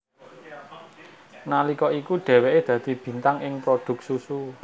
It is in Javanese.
Nalika iku dheweke dadi bintang ing prodhuk susu